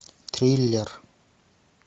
киллер